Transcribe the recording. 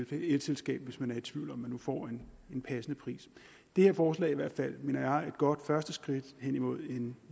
elselskab hvis man er i tvivl om hvorvidt man nu får en passende pris det her forslag er i hvert fald mener jeg et godt første skridt hen imod en